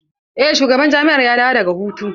Eh shugaban jami'ar ya dawo daga hutu.